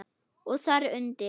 Og þar undir